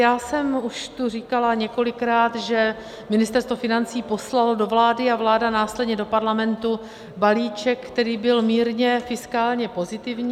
Já jsem už tu říkala několikrát, že Ministerstvo financí poslalo do vlády a vláda následně do Parlamentu balíček, který byl mírně fiskálně pozitivní.